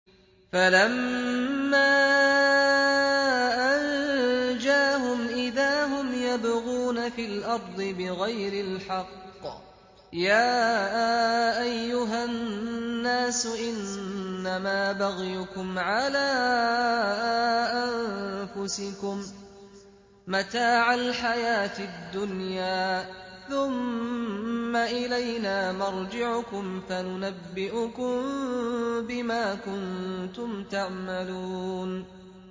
فَلَمَّا أَنجَاهُمْ إِذَا هُمْ يَبْغُونَ فِي الْأَرْضِ بِغَيْرِ الْحَقِّ ۗ يَا أَيُّهَا النَّاسُ إِنَّمَا بَغْيُكُمْ عَلَىٰ أَنفُسِكُم ۖ مَّتَاعَ الْحَيَاةِ الدُّنْيَا ۖ ثُمَّ إِلَيْنَا مَرْجِعُكُمْ فَنُنَبِّئُكُم بِمَا كُنتُمْ تَعْمَلُونَ